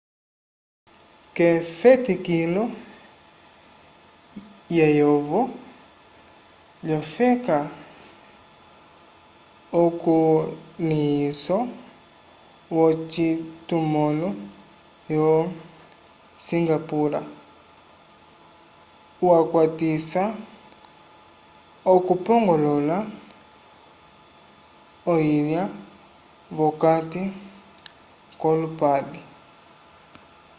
k'efetikilo lyeyovo lyofeka ukulĩhiso wocitumãlo yo singapura wakwatisa okupongolola oyilya v'okati k'olupale